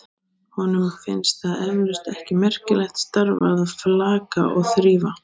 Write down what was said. Honum finnst það eflaust ekki merkilegt starf að flaka og þrífa.